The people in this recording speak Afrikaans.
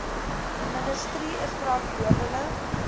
ministerie is verantwoordelik